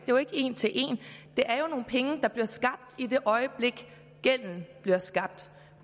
jo ikke en til en det er jo nogle penge der bliver skabt i det øjeblik gælden bliver skabt